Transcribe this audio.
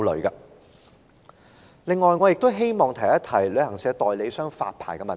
此外，我亦想談旅行代理商的發牌問題。